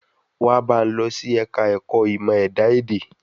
Wa bá n lọ sí ẹ̀ka ẹ̀kọ́ ìmọ̀ ẹ̀dá èdè